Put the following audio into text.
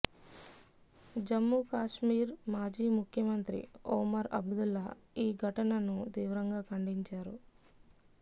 జమ్ముకశ్మీర్ మాజీ ముఖ్యమంత్రి ఒమర్ అబ్దుల్లా ఈ ఘటనను తీవ్రంగా ఖండించారు